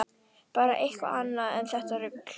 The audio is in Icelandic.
Bara eitthvað annað en þetta rugl.